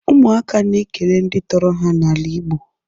Ụmụaka na-ekele ndị tọrọ ha n'ala igbo